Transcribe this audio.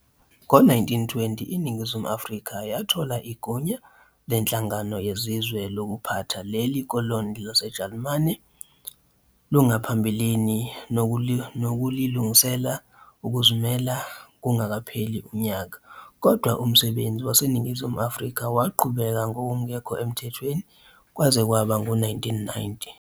Ngo-1920 iNingizimu Afrika yathola igunya leNhlangano Yezizwe lokuphatha leli koloni laseJalimane langaphambilini nokulilungiselela ukuzimela kungakapheli unyaka, kodwa umsebenzi waseNingizimu Afrika waqhubeka ngokungekho emthethweni kwaze kwaba ngu-1990.